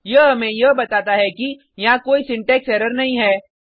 यह हमें यह बताता है कि यहाँ कोई सिंटेक्स एरर नहीं है